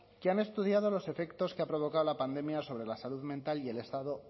que han estudiado los efectos que ha provocado la pandemia sobre la salud mental y el estado